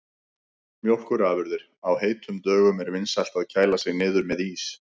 Mjólkurafurðir: Á heitum dögum er vinsælt að kæla sig niður með ís.